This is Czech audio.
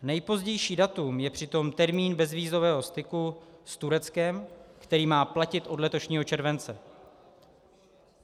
Nejpozdější datum je přitom termín bezvízového styku s Tureckem, který má platit od letošního července.